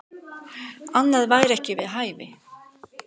Annað væri ekki við hæfi.